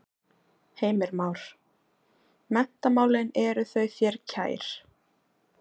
Heimir Már: Menntamálin eru þau þér kær?